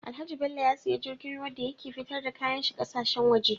Alhaji bello ya siya jirgin ruwa dan ya ke fitar da kayan shi ƙasa shen waje